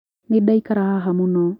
Nĩ ndaikara haha mũno.